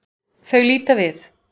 Þau líta við.